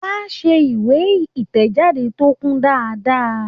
Wà ṣe ìwé ìtẹ̀jáde tó kún dáadáa.